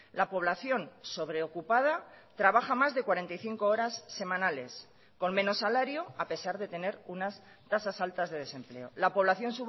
la población sobreocupada trabaja más de cuarenta y cinco horas semanales con menos salario a pesar de tener unas tasas altas de desempleo la población